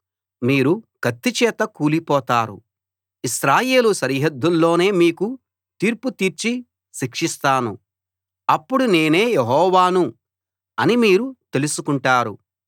మీరు కత్తి చేత కూలిపోతారు ఇశ్రాయేలు సరిహద్దుల్లోనే మీకు తీర్పు తీర్చి శిక్షిస్తాను అప్పుడు నేనే యెహోవాను అని మీరు తెలుసుకుంటారు